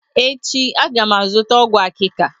Echi, a ga m azụta ọgwụ akika